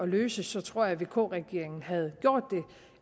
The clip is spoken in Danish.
løse tror jeg at vk regeringen havde gjort